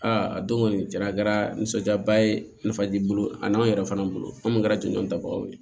Aa a don kɔni cɛn na a kɛra nisɔndiyaba ye nafa b'i bolo a n'anw yɛrɛ fana bolo an minnu kɛra jɔnjɔn tabagaw ye